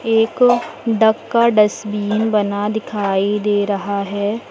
एक डक का डस्टबिन बना दिखाई दे रहा है।